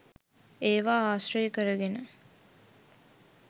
ඒවා ආශ්‍රය කරගෙන